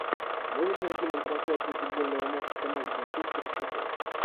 можешь найти нам трансляцию футбольного матча команд манчестер и шеффилд